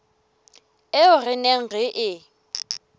eo re neng re e